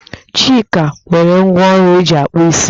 Chika o nwere ngwá ọrụ eji akpụ isi?